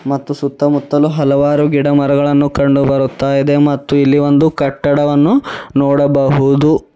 ಮತ್ತು ಸುತ್ತ ಮುತ್ತಲು ಹಲವಾರು ಗಿಡ ಮರಗಳನ್ನು ಕಂಡು ಬರುತಾ ಇದೆ ಮತ್ತು ಇಲ್ಲಿ ಒಂದು ಕಟ್ಟಡವನ್ನು ನೋಡಬಹುದು.